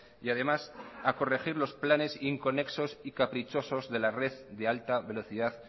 y además a corregir los planes inconexos y caprichosos de la red de alta velocidad